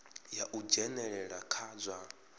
ya u dzhenelela kha zwa